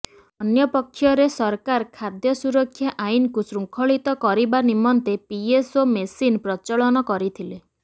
ଅନ୍ୟପକ୍ଷରେ ସରକାର ଖାଦ୍ୟ ସୁରକ୍ଷା ଆଇନକୁ ଶୃଙ୍ଖଳିତ କରିବା ନିମନ୍ତେ ପିଏସ୍ଓ ମେସିନ ପ୍ରଚଳନ କରିଥିଲେ